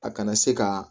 A kana se ka